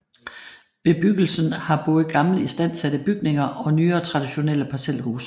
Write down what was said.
Bebyggelsens har både gamle istandsatte bygninger og nyere traditionelle parcelhuse